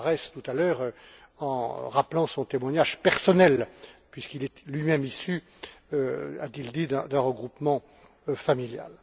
Moraes, tout à l'heure, en rappelant son témoignage personnel puisqu'il est lui même issu, a t il dit, d'un regroupement familial.